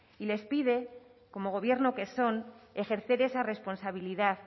les pide como gobierno que son ejercer esa responsabilidad